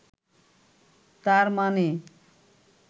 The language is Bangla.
তার মানে